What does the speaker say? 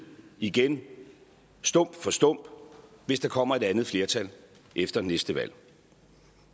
igen stump for stump hvis der kommer et andet flertal efter næste valg